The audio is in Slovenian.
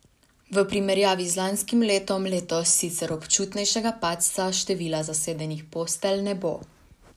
V primerjavi z lanskim letom letos sicer občutnejšega padca števila zasedenih postelj ne bo.